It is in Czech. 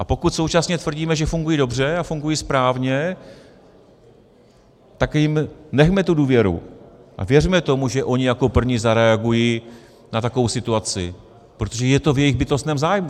A pokud současně tvrdíme, že fungují dobře a fungují správně, tak jim nechme tu důvěru a věřme tomu, že ony jako první zareagují na takovou situaci, protože je to v jejich bytostném zájmu.